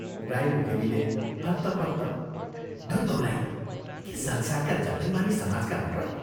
राई मुखेनीले हत्तपत्त, "दूर बौलाही, के संसारका जम्मै मानिस समाजका हुन् र?